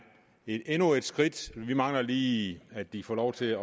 endnu et skridt mod vi mangler lige at de får lov til